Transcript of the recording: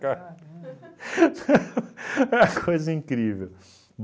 Caramba Uma coisa incrível